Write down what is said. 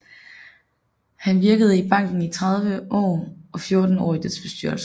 Han virkede i banken i 30 år og 14 år i dets bestyrelse